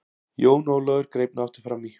Jón Ólafur greip nú aftur framí.